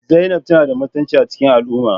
Zainab tana da mutunci a cikin al'umma